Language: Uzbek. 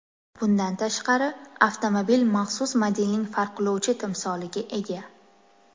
Bundan tashqari, avtomobil maxsus modelning farqlovchi timsoliga ega.